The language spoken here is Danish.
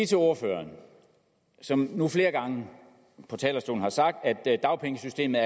til ordføreren som nu flere gange på talerstolen har sagt at dagpengesystemet